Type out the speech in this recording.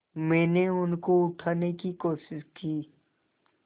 मैंने उनको उठाने की कोशिश की